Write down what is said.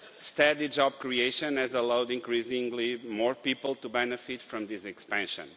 Steady job creation has allowed increasingly more people to benefit from this expansion.